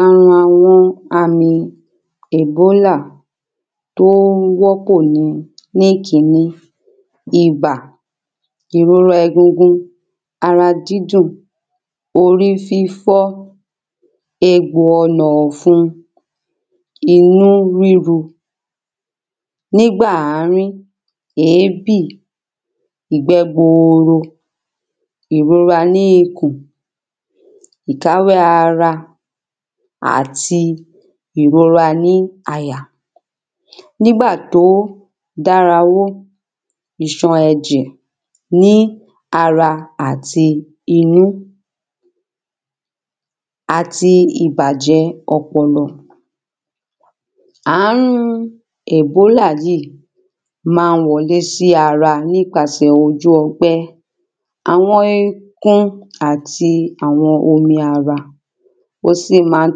Ààrùn àwọn àmì Ebola tí ó wo ni Ní ìkíní ibà ìrora egungun ara dídùn orí fífọ́ egbò ọ̀nà ọ̀fun inú ríro Ní ìgbà ìmíì èébì ìgbẹ́ buuru ìrora ní ikùn ìkáwẹ́ ara àti ìrora ní àyà Ní ìgbà tí ó ìsàn ẹ̀jẹ ní ara àti inú Àti ibàjẹ́ ọpọlọ Ààrùn Ebola yìí máa ń wọlé sí ara nípasẹ̀ ojú ọgbẹ́ Àwọn ekun àti àwọn omi ara Ó sì máa ń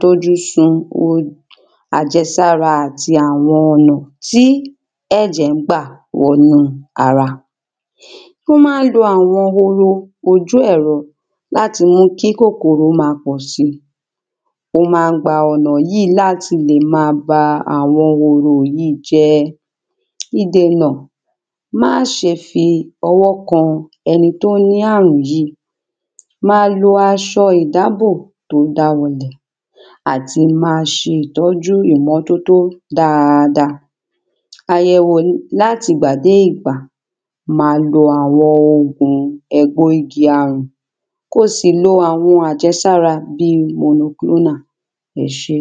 dójú sun àjẹsára àti àwọn ọ̀nà tí ẹ̀jẹ̀ ń gbà wọnú ara O máa ń lo àwọn horo ojú ẹ̀rọ láti mú kí kòkòrò máa pọ̀ si Wọ́n máa ń gba ọ̀nà yìí láti lè máa ba àwọn horo yìí jẹ́ Ìdènà Má ṣe fi ọwọ kan ẹni tí ó ní ààrùn yìí Máa lo aṣọ ìdábò tí ó bá tí ó àti máa ṣe itọ́jú ìmọ́tótó dáadáa Àyẹ̀wò láti ìgbà dé ìgbà Ma lo àwọn ògùn ègbo igi ààrùn Kí o sì lo àwọn àjẹsára bíi Monoglona Ẹ ṣé